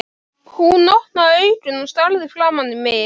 Hún opnaði augun og starði framan í mig.